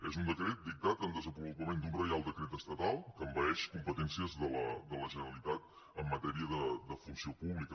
és un decret dictat en desenvolupament d’un reial decret estatal que envaeix competències de la generalitat en matèria de funció pública